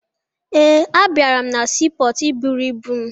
Ee, abịara na siipọọtụ iburu ibu m